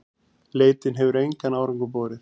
Leitin hefur engan árangur borið.